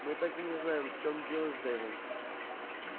мы так и не знаем в чем дело с дейвом